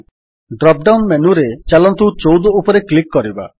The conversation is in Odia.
ଡ୍ରପ୍ ଡାଉନ୍ ମେନୁରେ ଚାଲନ୍ତୁ ୧୪ ଉପରେ କ୍ଲିକ୍ କରିବା